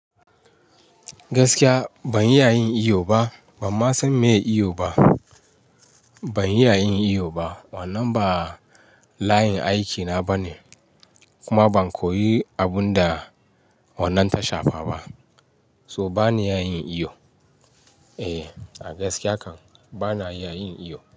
Gaskiya ban iya yin iyo ba, ban ma san meye iyo ba. Ban iya yin iyo ba, wannan ba layin aikina bane, kuma ban koyi abun da wannan ta shafa ba. So bana iya yin iyo. Eh, a gaskiya kan bana iya yin iyo.